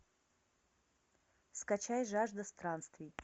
скачай жажда странствий